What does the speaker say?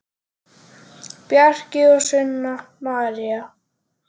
Bjarki og Sunna María.